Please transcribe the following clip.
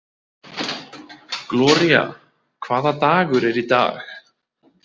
Gloría, hvaða dagur er í dag?